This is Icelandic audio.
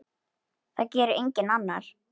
Það gerir enginn annar.